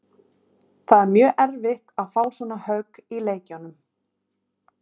Það er mjög erfitt að fá svona högg í leikjum.